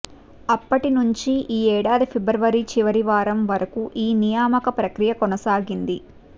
అప్పటి నుంచి ఈ ఏడాది ఫిబ్రవరి చివరి వారం వరకు ఈ నియామక ప్రక్రియ కొనసాగింది